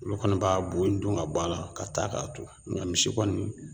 Olu kɔni b'a bu in dun ka bɔ a la ka taa k'a to ŋa misi kɔni